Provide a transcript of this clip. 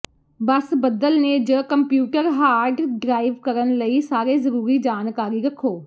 ਬਸ ਬੱਦਲ ਨੇ ਜ ਕੰਪਿਊਟਰ ਹਾਰਡ ਡਰਾਈਵ ਕਰਨ ਲਈ ਸਾਰੇ ਜ਼ਰੂਰੀ ਜਾਣਕਾਰੀ ਰੱਖੋ